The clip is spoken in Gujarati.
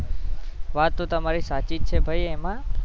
વાત તો તમારી સાચી છે ભાઈ એમાં